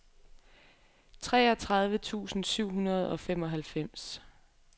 treogtredive tusind syv hundrede og femoghalvfems